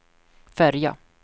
färja